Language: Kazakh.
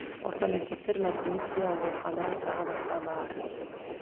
орта мектептер мәдениет үйі аурухана тағы басқа бар